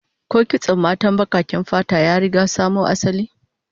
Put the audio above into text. Ko kitson matan bakaken fata ya riga samo asali?